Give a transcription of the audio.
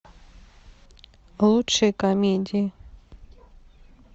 лучшие комедии